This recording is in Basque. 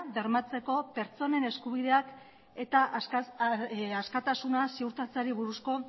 bermatzeko pertsonen eskubideak eta askatasuna ziurtatzeari buruzko